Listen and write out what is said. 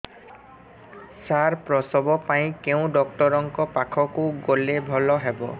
ସାର ପ୍ରସବ ପାଇଁ କେଉଁ ଡକ୍ଟର ଙ୍କ ପାଖକୁ ଗଲେ ଭଲ ହେବ